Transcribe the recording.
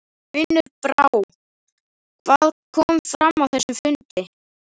Unnur Brá, hvað kom fram á þessum fundi?